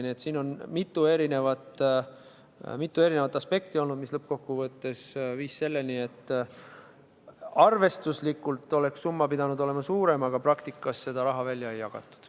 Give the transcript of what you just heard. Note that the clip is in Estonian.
Nii et siin on olnud mitu erinevat aspekti, mis lõppkokkuvõttes viis selleni, et arvestuslikult oleks summa pidanud olema suurem, aga praktikas seda raha välja ei jagatud.